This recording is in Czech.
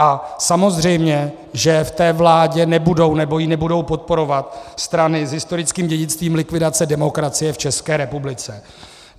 A samozřejmě, že v té vládě nebudou, nebo ji nebudou podporovat strany s historickým dědictvím likvidace demokracie v České republice.